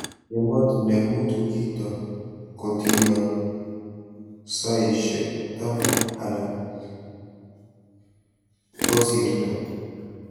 Ematinwek mutu kito kotino soishek taman anan kosirito